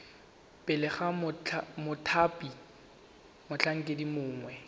pele ga mothati motlhankedi mongwe